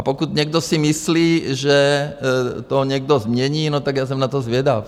A pokud někdo si myslí, že to někdo změní, no tak já jsem na to zvědav.